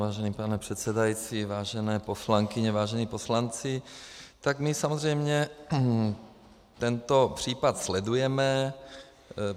Vážený pane předsedající, vážené poslankyně, vážení poslanci, tak my samozřejmě tento případ sledujeme.